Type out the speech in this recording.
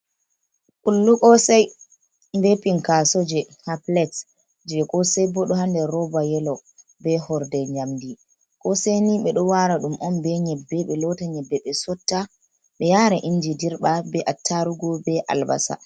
Kullu koosay, be pinkaaso, ɗo haa pilet, jey koosey, bo ɗo haa nder rooba yelo, be horde njamndi koosay ni ɓe ɗo waara ɗum on be nyebbe, ɓe loota nyebbe ɓe sotta, ɓe yaara inji dirɓa, be attaarugu be albasa.